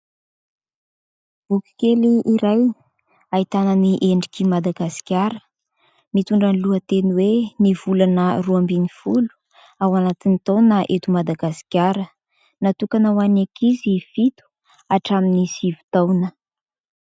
Boky kely iray ahitana ny endrik'i Madagasikara mitondra ny lohateny hoe : "Ny volana roa ambin'ny folo ao anatin'ny taona eto Madagasikara", natokana ho an'ny ankizy fito hatramin'ny sivy taona.